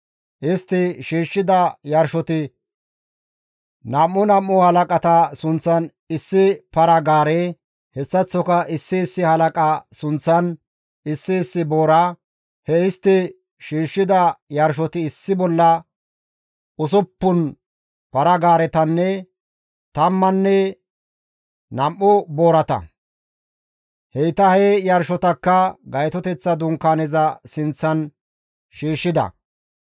Istti shiishshida yarshoti nam7u nam7u halaqata sunththan issi para-gaare, hessaththoka issi issi halaqa sunththan issi issi boora; he istti shiishshida yarshoti issi bolla usuppun para-gaaretanne tamman nam7u boorata; heyta he yarshotakka Gaytoteththa Dunkaaneza sinththan shiishshida.